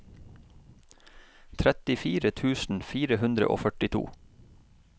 trettifire tusen fire hundre og førtito